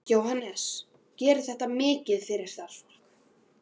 Jóhannes: Gerir þetta mikið fyrir starfsfólkið?